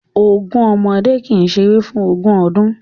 Ogun ọmọdé kì í ṣeré fún ogún ọdún